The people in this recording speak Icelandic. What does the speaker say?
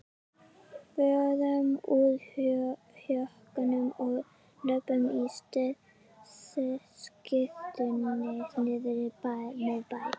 Förum úr jökkunum og löbbum á skyrtunni niðrí miðbæ!